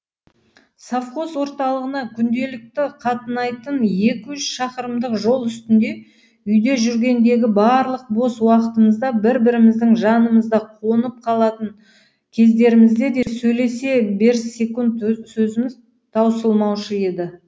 совхоз орталығына күнделікті қатынайтын екі үш шақырымдық жол үстінде үйде жүргендегі барлық бос уақытымызда бір біріміздің жанымызда қонып қалатын кездерімізде де сөйлесе берсек сөзіміз таусылмаушы еді